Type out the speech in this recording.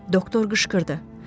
Doktor qışqırdı.